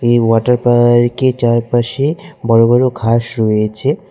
এই water park -এর চারপাশে বড় বড় ঘাস রয়েছে।